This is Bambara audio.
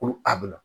Ko a bɛ na